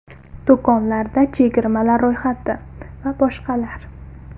Do‘konlarda chegirmalar ro‘yxati: Va boshqalar.